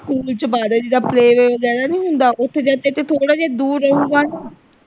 School ਚ ਪਾ ਦੇ ਜਿੱਦਾਂ play way ਵਗੈਰਾ ਨਹੀਂ ਹੁੰਦਾ ਓਥੇ ਜਦ ਤਕ ਇਹ ਥੋੜਾ ਜਿਹਾ ਦੂਰ ਰਹੂਗਾ ਨਾ।